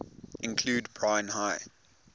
include brine high